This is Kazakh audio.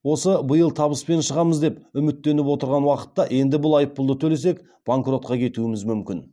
осы биыл табыспен шығамыз деп үміттеніп отырған уақытта енді бұл айыппұлды төлесек банкротқа кетуіміз мүмкін